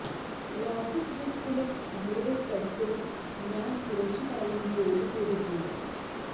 lotus ബുക്സിലും അവരുടെ പ്രസിലും ഞാന് കുറച്ചു കാലം ജോലി ചെയ്തിട്ടുണ്ട്